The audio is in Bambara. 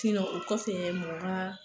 o kɔfɛ mɔgɔ ka